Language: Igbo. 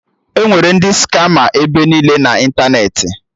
Enwere ndị skama ebe niile na ịntanetị